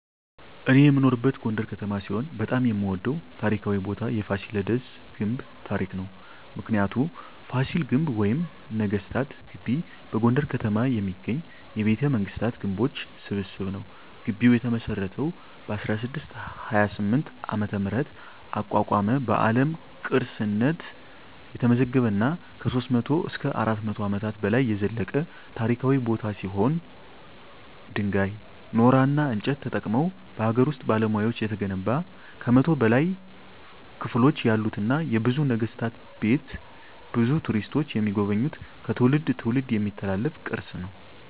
እኔ የምኖርበት ጎንደር ከተማ ሲሆን በጣም የምወደው ታሪካዊ ቦታ የፋሲለደስ ግንብ ታሪክ ነው። ምክንያቱ : ፋሲል ግንብ ወይም ነገስታት ግቢ በጎንደር ከተማ የሚገኝ የቤተመንግስታት ግንቦች ስብስብ ነው። ግቢው የተመሰረተው በ1628 ዓ.ም አቋቋመ በአለም ቅርስነት የተመዘገበ እና ከ300-400 አመታት በላይ የዘለቀ ታሪካዊ ቦታ ሲሆን ድንጋይ ,ኖራና እንጨት ተጠቅመው በሀገር ውስጥ ባለሙያዎች የተገነባ ከ100 በላይ ክፍሎች ያሉትና የብዙ ነገስታት ቤት ብዙ ቱሪስቶች የሚጎበኙት ከትውልድ ትውልድ የሚተላለፍ ቅርስ ነው።